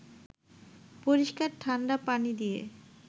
পরিস্কার ঠাণ্ডা পানি দিয়ে